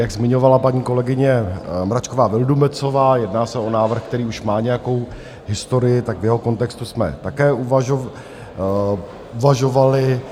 Jak zmiňovala paní kolegyně Mračková Vildumetzová, jedná se o návrh, který už má nějakou historii, tak v jeho kontextu jsme také uvažovali.